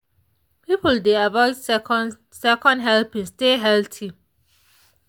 people dey avoid second second helpings stay healthy.